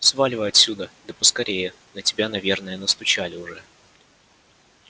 сваливай отсюда да поскорее на тебя наверное настучали уже